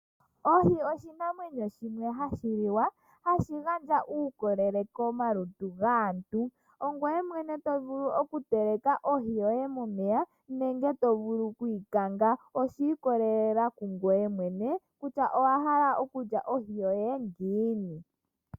Oohi oshinamwenyo shimwe hashi liwa hashi gandja uukolele komalutu gaantu. Ongoye mwene to vulu okuteleka ohi yoye momeya nenge to vulu ku yi kanga, osha ikolelela ku ngoye mwene kutya owa hala okulya ohi yoye ngiini.